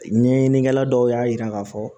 Ɲɛɲinikɛla dɔw y'a yira k'a fɔ